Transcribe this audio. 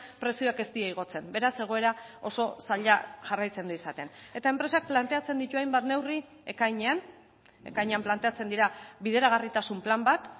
prezioak ez dira igotzen beraz egoera oso zaila jarraitzen du izaten eta enpresak planteatzen ditu hainbat neurri ekainean ekainean planteatzen dira bideragarritasun plan bat